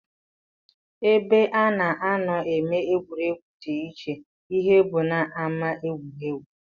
Ebe a na-anọ eme egwuregwu dị iche ihe bụ n'ámá egwuregwu